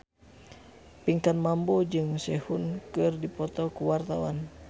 Pinkan Mambo jeung Sehun keur dipoto ku wartawan